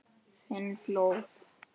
Finn blóð.